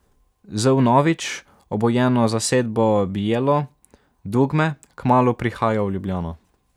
Z vnovič obujeno zasedbo Bijelo dugme kmalu prihaja v Ljubljano.